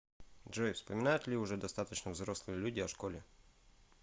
джой вспоминают ли уже достаточно взрослые люди о школе